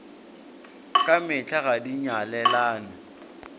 ka mehla ga di nyalelane